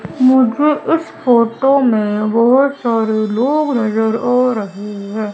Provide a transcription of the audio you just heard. मुझे इस फोटो में बहोत सारे लोग नजर आ रहे हैं।